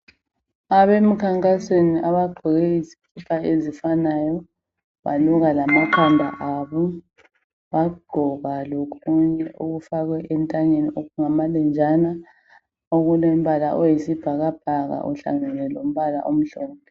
Abemkhankasweni abagqoke izikipa ezifananayo, baluka lamakhanda abo, bagqoka lokunye ukufakwa entanyeni okungamalenjana okulembala oyisibhakabhaka uhlangene lombala omhlophe.